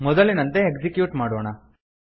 ಮೊದಲಿನಂತೆ ಎಕ್ಸಿಕ್ಯೂಟ್ ಮಾಡೋಣ